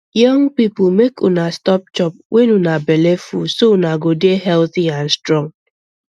young people make una stop chop when una belle full so una go dey healthy and strong